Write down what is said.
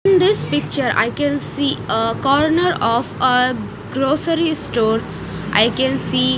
in this picture i can see a corner of a grocery store i can see --